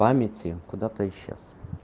памяти куда-то исчез